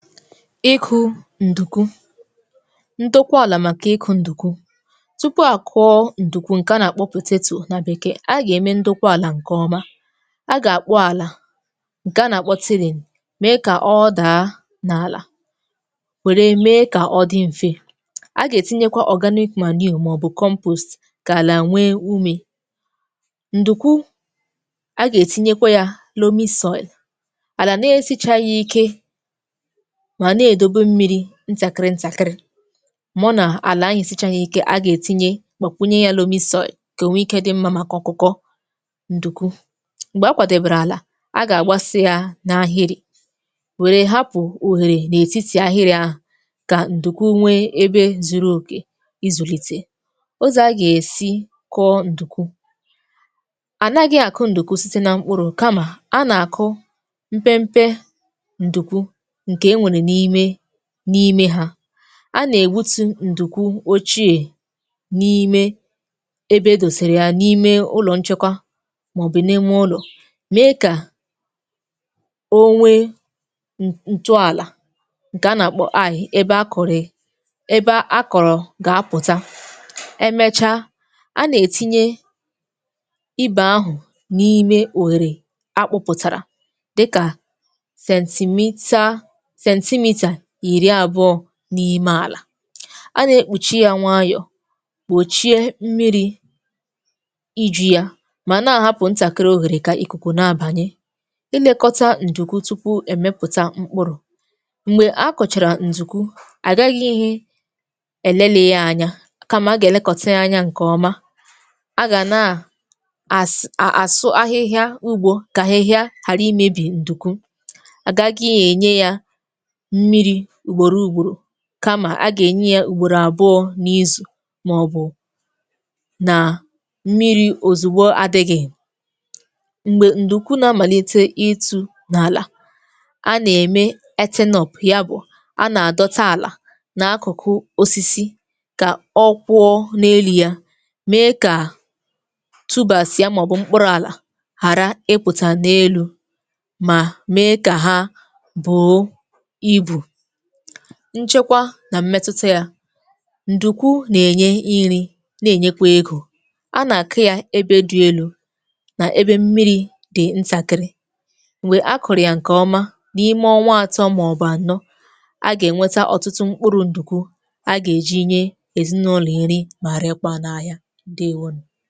Ikụ ndnkwu: ndokwa ala maka ịkụ ndụkwu. Tupu a kụọ ndụkwu nke a na-akpụ potato na bekee, a ga-eme ndokwa ala nke ọma, a ga-akpọ ala nke a na-akpụ tilling, mee ka ọ daa n’ala were mee ka ọ dị mfe, a ga-etinyekwa organic manure ma ọ bụ compost ka ala nwee ume. Ndụkwu, a ga-etinyekwa ya loamy soil. Ala na-esichaghị ike, ma na-edobe mmiri ntakịrị ntakịrị. Ma ọ na ala ahu esichaala ike, a ga-etinye gbakwụnye ya loamy soil ka o nwee ike dị mma maka ọkụkọ. Ndụkwu, mgbe a kwadebere ala, a ga-agbasa ya n’ahịrị, were hapụ ohere n’etiti ahịrị ahụ ka ndụkwu nwee ebe zuru oke izụlite. Ụzọ a ga-esi kụọ ndụkwu: anaghị akụ ndụkwu site na mkpụrụ, kama, a na-akụ mpe mpe ndụkwu nke e nwere n’ime n’ime ha. A na-egbutu ndụkwu ochie n’ime ebe e dosara ya, n’ime ụlọ nchekwa, ma ọ bụ n’ime ụlọ, mee ka o nwee ntụala ga na-akpọ, ebe akụrị ebe akọrọ ga-apụta. E mechaa, a na-etinye ibe ahụ n’ime ohere akụpụtara dịka sentimita centemetre iri abụọ n’ime ala. A na-ekpuchi ya nwayọ, gbochie mmiri iju ya, ma na-ahapụ ntakịrị ohere ka ikuku na-abanye. Ịmekọta ndụkwu tupu e mepụta mkpụrụ; mgbe a kụchara ndụkwu, agaghi elelị ya anya, kama, a ga-elekọta ya anya nke ọma. A ga na as asụ ahịhịa ugbo ka ahịhịa ghara imebi ndụkwu. A gaghị na-enye ya mmiri ugboro ugboro, kama a ga-enye ya ugboro abụọ n’izu, ma ọ bụ na mmiri ozugbo adịghị. Mgbe ndụkwu na-amalite ịtu n’ala, a na-eme earthing up. Ya bụ, a na-adọta ala n’akụkụ osisi ka ọ kwụọ n’elu ya, mee ka tubers ya ma ọ bụ mkpụrụ ala ghara ịpụta n’elu̇ ma mee ka ha buo ibu. Nchekwa na mmetụta ya; ndụkwu na-enye nri na-enyekwa ego. A na-akụ ya ebe dị elu na ebe mmiri dị ntakịrị. Mgbe a kụrụ ya nke ọma n’ime ọnwa atọ ma ọ bụ anọ, a ga-enweta ọtụtụ mkpụrụ ndụkwu a ga-eji nye ezinụlọ nri̇ ma rekwaa n’ahịa. Ndewo nu